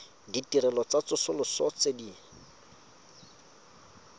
ditirelo tsa tsosoloso tse di